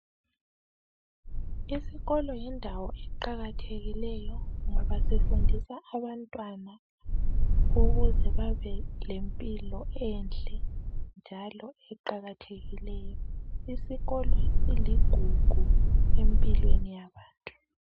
Isikolo yindawo eqakathekileyo. ngoba sifundisa abantwana ukuze babe lempilo enhle njalo eqakathekileyo. Isikolo siligugu empilweni yabantu.